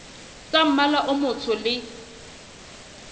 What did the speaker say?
tsa mmala o motsho le